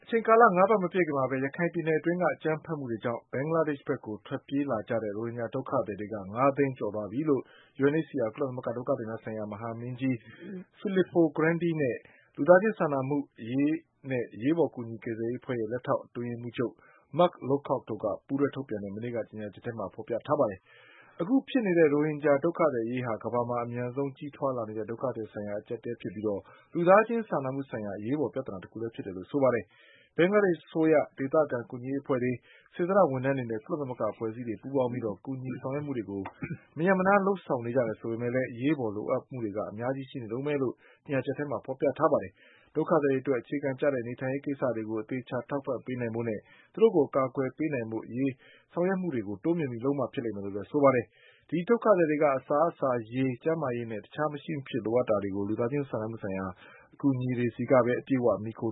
ချိန်ကာလ ၅ပတ်မပြည့်ခင်မှာပဲ ရခိုင်ပြည်နယ်အတွင်းက အကြမ်းဖက်မှုတွေကြောင့် ဘင်္ဂလားဒေ့ရှ်ဘက်ကိုထွက် ပြေးလာကြတဲ့ ရိုဟင်ဂျာဒုက္ခသည်တွေက ၅သိန်းကျော်သွားပြီလို့ UNHCR ကုလသမဂ္ဂဒုက္ခသည်များဆိုင်ရာ မဟာမင်း ကြီး Filippo Grandi နဲ့ လူသားချင်းစာနာမှုအရေးနဲ့ အရေးပေါ်ကူညီကယ်ဆယ်ရေးအဖွဲ့ရဲ့လက်ထောက် အတွင်းရေး မှုးချုပ် Mark Lowcockတို့ ပူးတွဲထုတ်ပြန်တဲ့ မနေ့ကကြေညာချက်ထဲမှာ ဖေါ်ပြထားပါတယ်။ အခုဖြစ်နေတဲ့ရိုဟင်ဂျာ ဒုက္ခသည်အရေးဟာ ကမ္ဘာမှာအမြန်ဆုံးကြီးထွားလာနေတဲ့ဒုက္ခသည်ဆိုင်ရာအကျပ်အတည်းဖြစ်ပြီး လူသားချင်းစာနာမှု ဆိုင်ရာ အရေးပေါ်ပြဿနာတခုလည်းဖြစ်တယ်လို့ဆိုပါတယ်။ ဘင်္ဂလားဒေ့ရှ်အစိုးရ၊ ဒေသခံကူညီရေးအဖွဲ့တွေ၊ စေ တနာ့ ဝန်ထမ်းတွေနဲ့ ကုလသမဂ္ဂအဖွဲ့အစည်းတွေပူးပေါင်းပြီး ကူညီဆောင်ရွက်မှုတွေမရပ်မနားလုပ်ဆောင်နေကြတယ် ဆိုပေမဲ့လည်း အရေးပေါ်လိုအပ်မှုတွေကအများကြီးရှိနေတုန်းပဲလို့ ကြေညာချက်ထဲမှာဖေါ်ပြထားပါတယ်။ ဒုက္ခသည် တွေအတွက်အခြေခံကျတဲ့ နေထိုင်ရေးကိစ္စတွေကို အသေအချာထောက်ပံ့ပေးနိုင်ဖို့နဲ့ သူတို့ကိုအကာအကွယ်ပေးနိုင်ဖို့ အရေးဆောင်ရွက်ပေးမှုတွေကို တိုးမြှင့်ပြီးလုပ်မှဖြစ်လိမ့်မယ်လို့လည်းဆိုပါတယ်။ ဒီဒုက္ခသည်တွေက အစားအစာ၊ ရေ၊ ကျန်းမာရေးနဲ့ တခြားမရှိမဖြစ်လိုအပ်တာတွေကို လူသားချင်းစာနာမှုဆိုင်ရာအကူအညီတွေကိုပဲအပြည့်အ၀ မှီခို